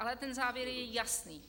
Ale ten závěr je jasný.